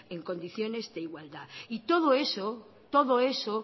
en condiciones de igualdad y todo eso es lo